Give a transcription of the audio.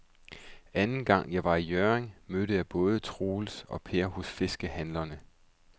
Anden gang jeg var i Hjørring, mødte jeg både Troels og Per hos fiskehandlerne.